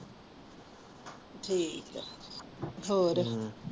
ਠੀਕ ਆ ਹੋਰ ਹਮ